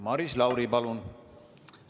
Maris Lauri, palun!